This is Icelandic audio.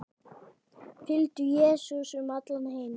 Fylgdu Jesú um allan heim